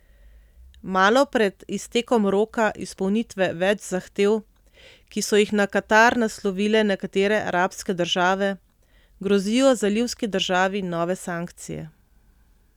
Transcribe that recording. Malo pred iztekom roka izpolnitve več zahtev, ki so jih na Katar naslovile nekatere arabske države, grozijo zalivski državi nove sankcije.